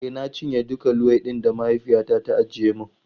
E, na cinye dukan luwaiɗin da mahaifiyata ta ajiye mun.